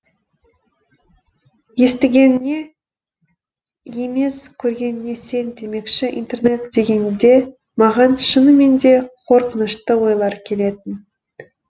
естігеніңе емес көргеніңе сен демекші интернат дегенде маған шынымен де қорқынышты ойлар келетін